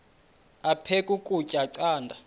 aphek ukutya canda